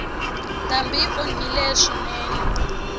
ndhambi yi onhile swinene